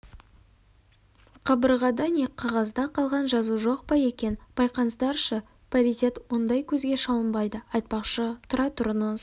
қабырғада не қағазда қалған жазу жоқ па екен байқаңыздаршы паритет ондай көзге шалынбайды айтпақшы тұра тұрыңыз